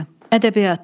Ədəbiyyat.